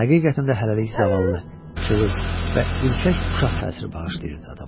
həqiqətən də hələlik zavallı, cılız və ürkək uşaq təsiri bağışlayırdı adama.